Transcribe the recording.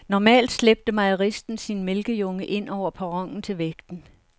Normalt slæbte mejeristen sin mælkejunge ind over perronen til vægten.